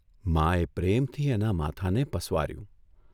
માએ પ્રેમથી એના માથાને પસવાર્યું.